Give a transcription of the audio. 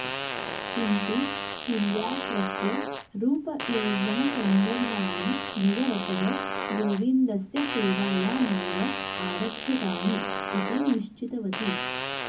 किन्तु तिल्या स्वस्य रूपयौव्वनसौन्दर्याणि भगवतः गोविन्दस्य सेवायामेव आरक्षितानि इति निश्चितवती